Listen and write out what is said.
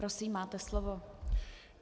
Prosím, máte slovo.